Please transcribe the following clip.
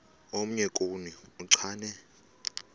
omnye kuni uchane